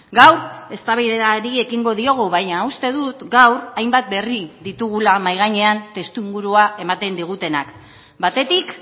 gaur eztabaidari ekingo diogu baina uste dut gaur hainbat berri ditugula mahai gainean testuingurua ematen digutenak batetik